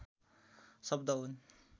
शब्द हुन्